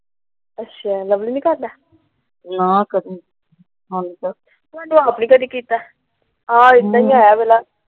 ਅੱਛਾ ਲਵਲੀ ਨਹੀਂ ਕਰਦਾ। ਮੈ ਆਪ ਨਹੀਂ ਕਦੀ ਕੀਤਾ।